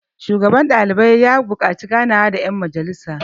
shugaban ɗalibai ya buƙaci ganawa da yan majjalisarsa